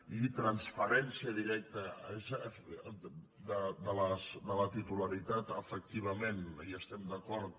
i transferència directa de la titularitat efectivament hi estem d’acord